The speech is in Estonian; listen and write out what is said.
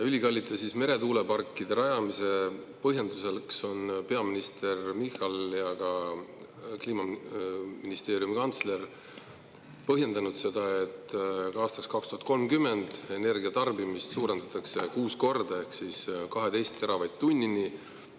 Ülikallite meretuuleparkide rajamist on peaminister Michal ja ka Kliimaministeeriumi kantsler põhjendanud sellega, et aastaks 2030 suurendatakse energia tarbimist 6 korda ehk 12 teravatt-tunnini.